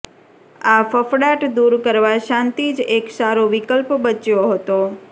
આ ફફડાટ દૂર કરવા શાંતિ જ એક સારો વિકલ્પ બચ્યો હતો